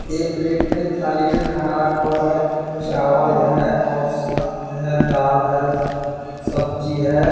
एक प्लेट मे थाली में खाना रखा हुआ है चावल है और सलाद है दाल है सब्जी है ।